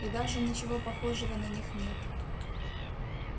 и даже ничего похожего на них нет